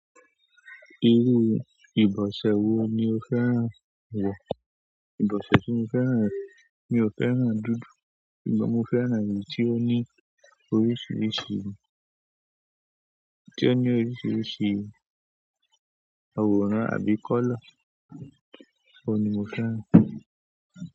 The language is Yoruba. Iru ìbọ̀sẹ̀ wo ni o fẹ́ ràn wọ̀? Ìbọ̀sẹ̀ tí mo fẹ́ ràn, mi ò fẹ́ ràn dúdú, ṣùgbọ́n mo fẹ́ ràn èyí tí ó ní oríṣiríṣi, tí ó ní oríṣiríṣi àwòrán, àbí kọ́lá, ọ̀ ni mo fẹ́ ràn.